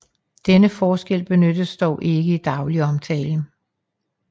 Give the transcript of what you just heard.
Denne forskel benyttes dog ikke i daglig omtale